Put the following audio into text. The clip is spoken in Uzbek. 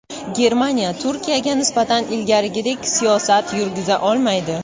Germaniya Turkiyaga nisbatan ilgarigidek siyosat yurgiza olmaydi.